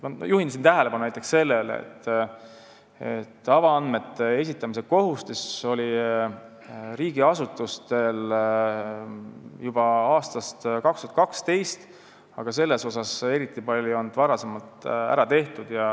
Juhin tähelepanu sellele, et avaandmete esitamise kohustus oli riigiasutustel juba aastast 2012, aga varem ei ole selles suhtes eriti palju ära tehtud.